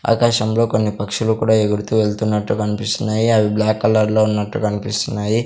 ఆకాశంలో కొన్ని పక్షులు కూడా ఎగురుతూ వెళ్తున్నట్టు కనిపిస్తున్నాయి అవి బ్లాక్ కలర్లో ఉన్నట్టు కనిపిస్తున్నాయి.